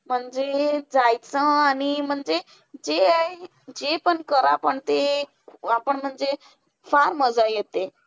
म्हणजे जायचं आणि म्हणजे ते आहे जे पण करा, पण ते आपण म्हणजे फार मजा येते.